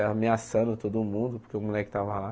Ameaçando todo mundo, porque o moleque estava lá.